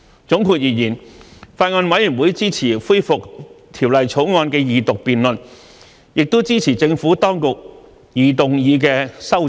總括而言，法案委員會支持恢復《條例草案》的二讀辯論，也支持政府當局擬動議的修正案。